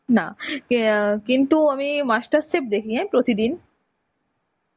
নাহ. কে অ্যাঁ কিন্তু আমি master chef দেখি হ্যাঁ প্রতিদিন.